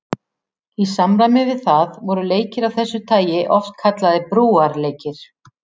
Í samræmi við það voru leikir af þessu tagi oft kallaðir brúarleikir.